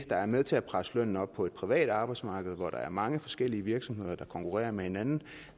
er med til at presse lønnen op på det private arbejdsmarked hvor der er mange forskellige virksomheder der konkurrerer med hinanden